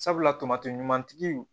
Sabula tamati ɲuman tigi